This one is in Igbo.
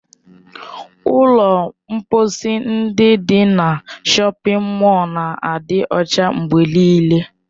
Ụlọ mkposi ndị dị na shọpin mọl na-adị ọcha mgbe nịịle.